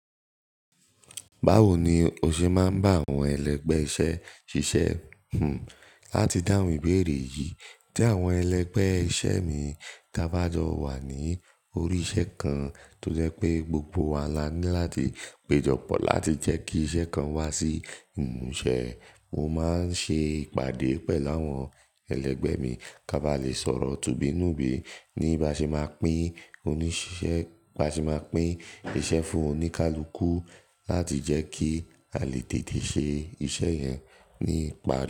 Báwo ni o ṣe máa ń bá àwọn ẹlẹgbẹ́ iṣẹ́ ṣiṣẹ́? Hmm, láti dáhùn ìbéèrè yìí, tí àwọn ẹlẹgbẹ́ iṣẹ́ mi tí abá jọ wà ní orí iṣẹ́ kan, tó jẹ́ pé gbogbo wa la ní láti péjọpọ̀ láti jẹ́ kí iṣẹ́ kan wá sí ìmúṣẹ. Mo máa ń ṣe ìpàdé pẹ̀lú àwọn ẹlẹgbẹ́ mi ká bá lè sọ̀rọ̀ tùbí nùbí ní báṣe máa pín oníṣiṣẹ́, báṣe máa pín iṣẹ́ fún oníkálukú láti jẹ́ kí a lè tètè ṣe iṣẹ́ yẹn ní ìparí.